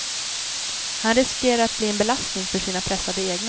Han riskerar att bli en belastning för sina pressade egna.